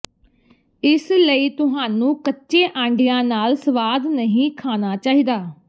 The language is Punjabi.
ਇਸ ਲਈ ਤੁਹਾਨੂੰ ਕੱਚੇ ਆਂਡਿਆਂ ਨਾਲ ਸਵਾਦ ਨਹੀਂ ਖਾਣਾ ਚਾਹੀਦਾ